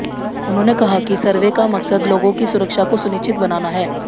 उन्होंने कहा कि सर्वे का मकसद लोगों की सुरक्षा को सुनिश्चित बनाना है